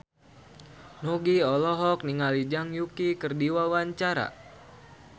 Nugie olohok ningali Zhang Yuqi keur diwawancara